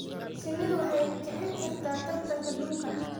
Shinnidu waxay kicin kartaa tartanka dhulka.